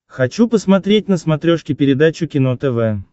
хочу посмотреть на смотрешке передачу кино тв